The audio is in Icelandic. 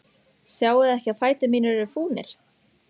Sjáiði ekki að fætur mínir eru fúnir?